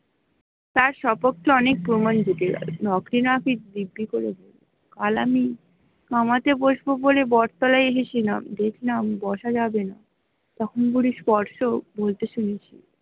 তার সপক্ষে অনেক প্রমান জুটে যাবে কাল আমি কামাতে বসবো বলে বট তলায় এসেছিলাম দেখলাম বসা যাবে না